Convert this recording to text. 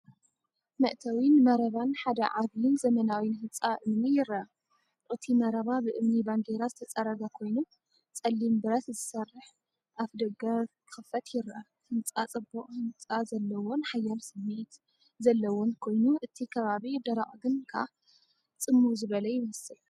መእተዊን መረባን ሓደ ዓቢን ዘመናዊን ህንጻ እምኒ ይርአ። እቲ መረባ ብእምኒ ባንዴራ ዝተጸረገ ኮይኑ፡ ጸሊም ብረት ዝሰርሕ ኣፍደገ ክኽፈት ይርአ። ህንጻ ጽቡቕ ህንጻ ዘለዎን ሓያል ስምዒት ዘለዎን ኮይኑ፡ እቲ ከባቢ ደረቕ ግን ከኣ ጽምው ዝበለ ይመስል።